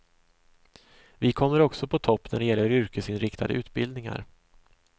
Vi kommer också på topp när det gäller yrkesinriktade utbildningar.